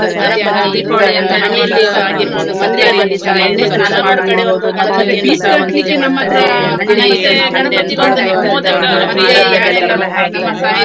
ಮಧ್ಯಾಹ್ನ ಊಟ ಎಲ್ಲಾ ನಾವು ಹಿಡ್ಕೊಂಡ್ ಹೋಗುದ್. ಅಂದ್ರೆ ಮದ್ ~ ಮದ್ಲೇ ದಿವ್ಸದ ಅನ್ನ, ಅದೆಲ್ಲಾ ನೆನಪಾಗ್ತದೆ ನಂಗೆ. ಅಂದ್ರೆ ಮದ್ಲಿನ್ ದಿವ್ಸ ನಾವು ಇದ್ದದ್ದ ಅನ್ನ ಉಳಿದದ್ದನ್ನು ತಕೊಂಡ್ ಹೋಗುವಂತದ್ದು.